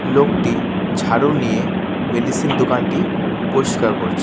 লোকটি ঝাড়ু নিয়ে মেডিসিন দোকানটি পরিষ্কার করছে।